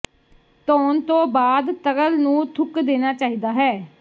ਧੋਣ ਤੋਂ ਬਾਅਦ ਤਰਲ ਨੂੰ ਥੁੱਕ ਦੇਣਾ ਚਾਹੀਦਾ ਹੈ